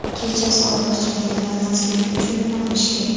Kechasi ortiqcha ovqatlanmaslik uchun nima qilish kerak?